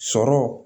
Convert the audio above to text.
Sɔrɔ